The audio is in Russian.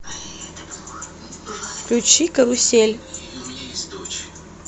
включи карусель